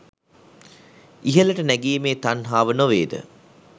ඉහළට නැගීමේ තණ්හාව නොවේද?